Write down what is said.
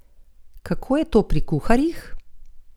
Kako je to pri kuharjih?